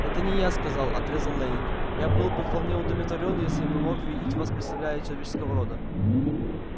это не я сказал отрезал лэннинг я был бы вполне удовлетворён если бы мог видеть в вас представителя человеческого рода